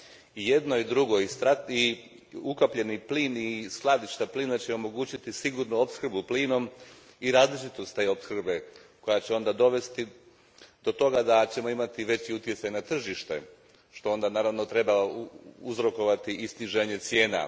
I jedno i drugo, i ukapljeni plin i skladišta plina omogućit će sigurnu opskrbu plinom i različitost te opskrbe koja će onda dovesti do toga da ćemo imati veći utjecaj na tržište, što onda treba uzrokovati i sniženje cijena.